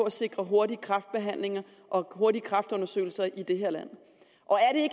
at sikre hurtige kræftbehandlinger og hurtige kræftundersøgelser i det her land og